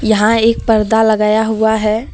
यहां एक पर्दा लगाया हुआ है।